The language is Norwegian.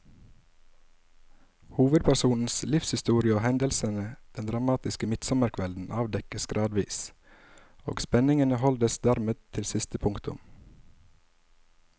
Hovedpersonens livshistorie og hendelsene den dramatiske midtsommerkvelden avdekkes gradvis, og spenningen holdes dermed til siste punktum.